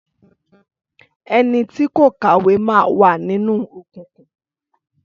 Ẹnití kò kàwé máa wà nínú òkùnkùn.